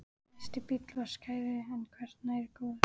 Næsti bíll var skárri en hvergi nærri góður.